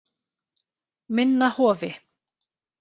Minna Hofi